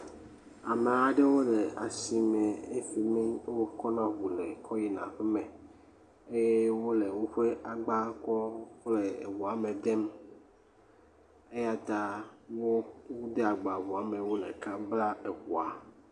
Ame aɖewo le asi me le fimi ke wokɔ na eŋu kɔ yina aƒe me eye wole woƒe agba kɔm le ŋu me dem eyata wode agba ŋua me eye wole ka blam ŋua.